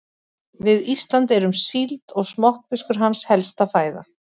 Við Ísland er síld og smokkfiskur hans helsta fæða.